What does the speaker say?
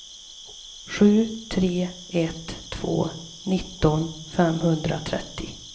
sju tre ett två nitton femhundratrettio